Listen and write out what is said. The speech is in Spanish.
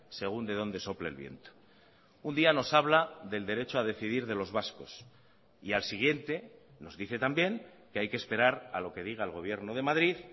según de dónde sople el viento un día nos habla del derecho a decidir de los vascos y al siguiente nos dice también que hay que esperar a lo que diga el gobierno de madrid